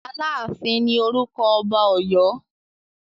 Aláàfin ní orúkọ ọba Ọ̀yọ́.